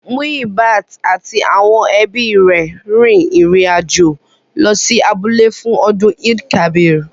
Muyibat àti àwọn ẹbí rẹ̀ rin ìrìn àjò lọ sí abúlé fún ọdún Eid-el-kabir